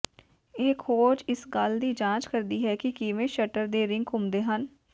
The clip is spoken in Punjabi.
ਇਹ ਖੋਜ ਇਸ ਗੱਲ ਦੀ ਜਾਂਚ ਕਰਦੀ ਹੈ ਕਿ ਕਿਵੇਂ ਸ਼ਟਰ ਦੇ ਰਿੰਗ ਘੁੰਮਦੇ ਹਨ